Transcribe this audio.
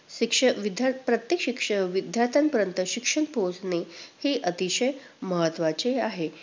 शिक्ष~विद~प्रत्येक शिक्षक, विद्यार्थ्यांपर्यंत शिक्षण पोहोचणे हे अतिशय महत्त्वाचे आहे.